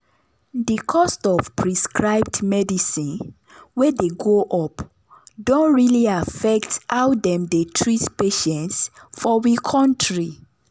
the cost of prescribed medicine wey dey go up don really affect how dem dey treat patients for we kontry.